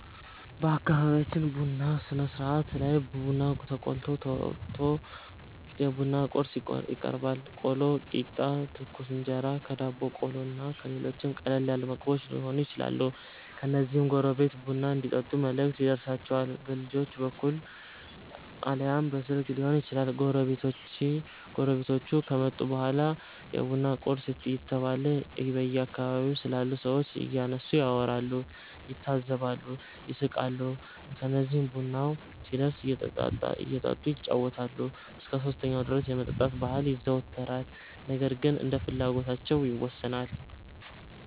በአከቢቢያችን ቡና ስነስርአት ላይ ቡና ተቆልቶ፣ ተወቅቶ፣ የቡና ቁርስ ይቀርባል(ቆሎ፣ ቂጣ፣ ትኩስ እንጀራ፣ ዳቦ ቆሎ እና ሌሎችም ቀለል ያሉ ምግቦች የሆኑ ይችላሉ) ከዚያም ጎረቤት ቡና እንዲጠጡ መልእክት ይደርሣቸዋል። በልጆች በኩል አልያም በስልክ ሊሆን ይችላል። ጎረቤቶቹ ከመጡ በኋላ የቡና ቁርስ እየተበላ በአከባቢው ስላሉ ሠዎች እያነሱ ያወራሉ፣ ይታዘባሉ፣ ይስቃሉ። ከዚህም ቡናው ሲደርስ እየጠጡ ይጫወታሉ። እስከ 3ኛው ድረስ የመጠጣት ባህል ይዘወተራል ነገር ግን እንደየፍላጎታቸው ይወሠናል።